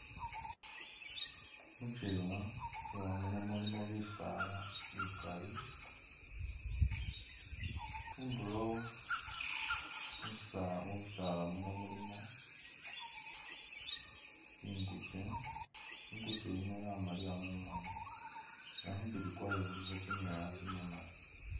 Mukyewa mukyewa muno mulimo bisala bikali khunduro mubisaala muno mulimo ingukye, ingukye yino yamaliya mumoni nga khumubili kwayo khulikho kyimwoya kyimimali.